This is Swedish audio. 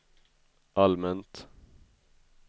allmänt